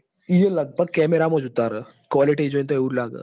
યે લગભગ cemara મો ઉતાર હ quality જોઈ ન આવું લાગ હ